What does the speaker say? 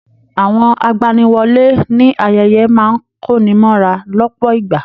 Àwọn agbaniwọ́lè ní ayẹyẹ máa n konimọ́ra lọpọ ìgbà.